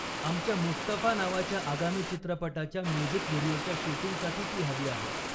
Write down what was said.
आमच्या 'मुस्तफा' नावाच्या आगामी चित्रपटाच्या म्युझिक व्हिडिओच्या शूटिंगसाठी ती हवी आहे.